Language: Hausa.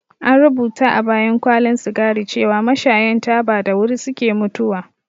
An rubuta a bayan kwalin sigari cewar mashayan taba da wuri suke mutuwa